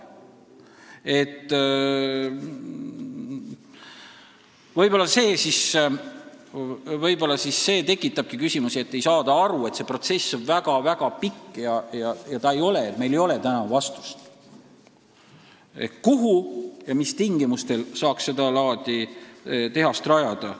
Võib-olla see tekitabki küsimusi, et ei saada aru, et see protsess on väga-väga pikk ja meil ei ole täna vastust, kuhu ja mis tingimustel saaks sedalaadi tehase rajada.